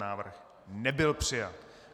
Návrh nebyl přijat.